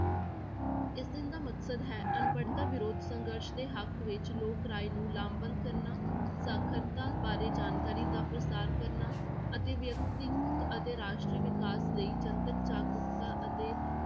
ਇਸ ਦਿਨ ਦਾ ਮਕਸਦ ਹੈ ਅਨਪੜ੍ਹਤਾ ਵਿਰੋਧ ਸੰਘਰਸ਼ ਦੇ ਹੱਕ ਵਿੱਚ ਲੋਕ ਰਾਏ ਨੂੰ ਲਾਭ ਬੰਦ ਕਰਨਾ, ਸਾਖ਼ਰਤਾ ਬਾਰੇ ਜਾਣਕਾਰੀ ਦਾ ਪ੍ਰਸਾਰ ਕਰਨਾ, ਅਤੇ ਵਿਅਕਤੀਗਤ ਅਤੇ ਰਾਸ਼ਟਰੀ ਵਿਕਾਸ ਲਈ ਜਨਤਕ ਜਾਗਰੂਕਤਾ ਅਤੇ